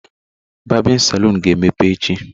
Barbịn salụn ga emepe echi.